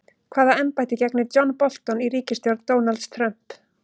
Hvaða embætti gegnir John Bolton í ríkisstjórn Donalds Trump?